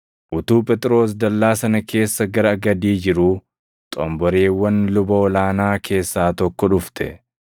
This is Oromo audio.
Utuu Phexros dallaa sana keessa gara gadii jiruu xomboreewwan luba ol aanaa keessaa tokko dhufte.